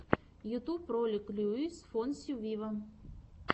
ютуб ролик луис фонси виво